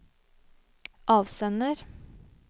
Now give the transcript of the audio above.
avsender